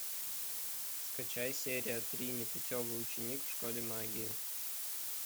скачай серия три непутевый ученик в школе магии